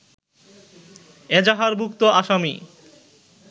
এজাহারভুক্ত আসামি